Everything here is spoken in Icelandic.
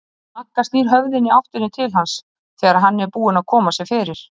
Magga snýr höfðinu í áttina til hans þegar hann er búinn að koma sér fyrir.